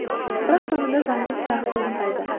бірақ соңында заңды сұрақ туындайды